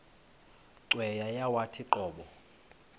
cweya yawathi qobo